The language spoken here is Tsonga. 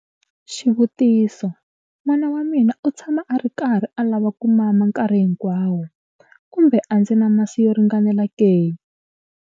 Xivutiso- N'wana wa mina u tshama a ri karhi a lava ku mama nkarhi hinkwawo, kumbe a ndzi na masi yo ringanela ke?